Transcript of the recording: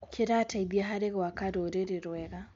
Kĩrateithia harĩ gwaka rũrĩrĩ rwega.